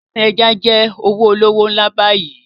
Fishery is a very lucrative business now